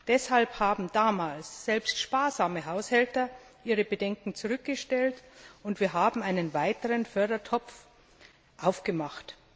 Deshalb haben damals selbst sparsame Haushälter ihre Bedenken zurückgestellt und wir haben einen weiteren Fördertopf aufgemacht.